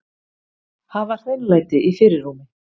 Hafa hreinlæti í fyrirrúmi.